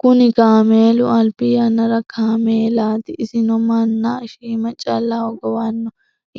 Kunni kaameelu albi yanna kaameelaati. Isino manna shiima calla hogowano.